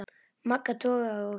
Magga togaði og